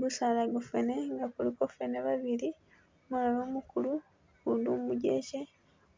Gusaala gwa fene nga kuliko fene babili umulala umukulu ugundi umugyekye,